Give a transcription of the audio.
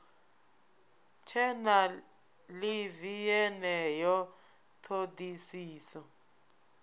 tshe na ḽivi yeneyo ṱhoḓisiso